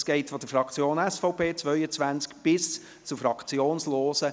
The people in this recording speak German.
Das reicht mit 22 Minuten von der Fraktion SVP bis zu 3 Minuten für Fraktionslose.